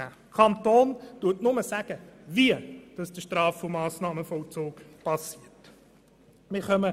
Der Kanton sagt lediglich, wie der Straf- und Massnahmenvollzug geschieht.